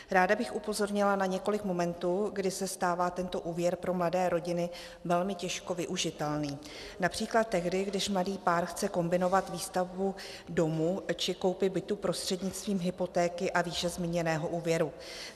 Ráda bych upozornila na několik momentů, kdy se stává tento úvěr pro mladé rodiny velmi těžko využitelný, například tehdy, když mladý pár chce kombinovat výstavbu domu či koupi bytu prostřednictvím hypotéky a výše zmíněného úvěru.